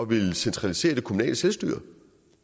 ville centralisere det kommunale selvstyre